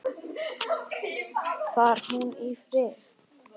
Far hún í friði.